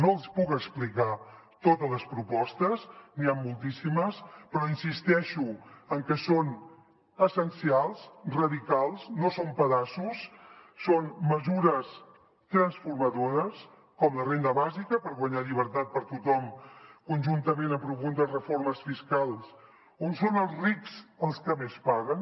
no els puc explicar totes les propostes n’hi han moltíssimes però insisteixo en que són essencials radicals no són pedaços són mesures transformadores com la renda bàsica per guanyar llibertat per tothom conjuntament amb profundes reformes fiscals on són els rics els que més paguen